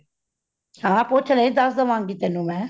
ਹਾਂ ਪੁੱਛ ਲਈ ਦਾਸ ਦਾਵਾਗ਼ੀ ਤੈਨੂੰ ਮੈ